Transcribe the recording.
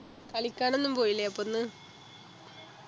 കളിക്കാനൊന്നും പോയില്ലേ അപ്പോ ഇന്ന്